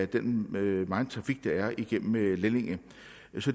den megen trafik der er igennem lellinge